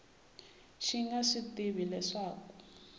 xi nga swi tivi leswaku